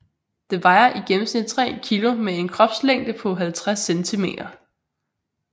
Den vejer i gennemsnit 3 kg med en kropslængde på 50 centimeter